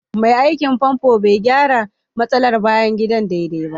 Mai aikin famfo bai gyara matsalar bayan gida daidai ba